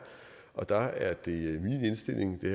og der er det min indstilling det